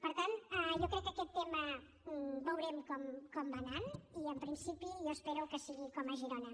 per tant jo crec que aquest tema veurem com va anant i en principi jo espero que sigui com a girona